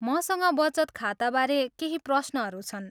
मसँग बचत खाताबारे केही प्रश्नहरू छन्।